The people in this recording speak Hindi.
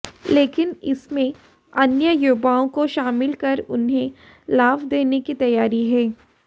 लेकिन इसमें अन्य युवाओं को शामिल कर उन्हें लाभ देने की तैयारी है